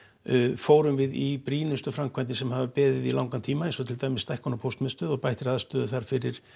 fórum við í brýnustu framkvæmdir sem hafa beðið í langan tíma eins og til dæmis stækkun á póstmiðstöð og bættri aðstöðu þar fyrir